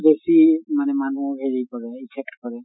বেছি মানে মানুহক হেৰি কৰে effect কৰে।